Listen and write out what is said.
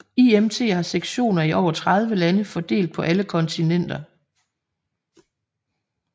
IMT har sektioner i over 30 lande fordelt på alle kontinenter